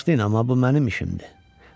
Bağışlayın, amma bu mənim işimdir.